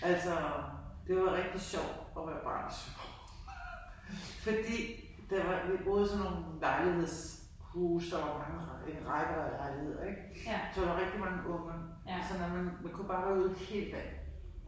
Altså det var rigtig sjovt at være barn i Søborg fordi der var vi boede i sådan nogen lejligheds huse der var mange rækker rækker af lejligheder ik så der var rigtig mange unger så man man kunne bare være ude hele dagen